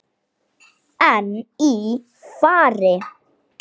En í fari